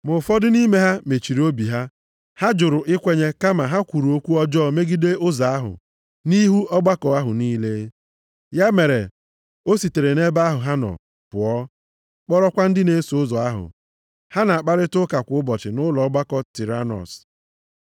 Ma ụfọdụ nʼime ha mechiri obi ha; ha juru ikwenye, kama ha kwuru okwu ọjọọ megide Ụzọ ahụ nʼihu ọgbakọ ahụ niile. Ya mere, o sitere nʼebe ha nọ pụọ, kpọrọkwa ndị na-eso ụzọ ahụ, ha na-akparịta ụka kwa ụbọchị nʼụlọ ọgbakọ + 19:9 Nke a bụ ebe a na-anọ na-akụziri ọha mmadụ ihe. Tiranọs.